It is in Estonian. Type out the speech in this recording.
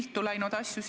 Mida muud neil öelda ongi?